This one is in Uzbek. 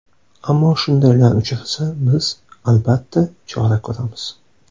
Ammo shundaylar uchrasa, biz, albatta, chora ko‘ramiz.